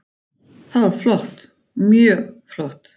Það var flott, mjög flott.